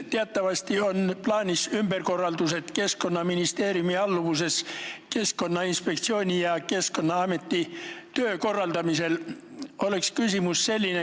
Teatavasti on plaanis ümberkorraldused Keskkonnaministeeriumi alluvuses olevate Keskkonnainspektsiooni ja Keskkonnaameti töö korraldamisel.